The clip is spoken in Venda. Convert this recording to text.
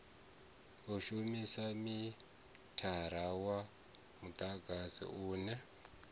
shumisa mithara wa mudagasi une